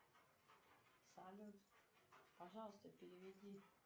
салют пожалуйста переведи